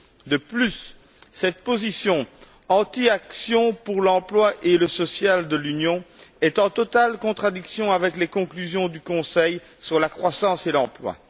De plus, cette position anti action pour l'emploi et le social de l'Union est en totale contradiction avec les conclusions du Conseil sur la croissance et l'emploi.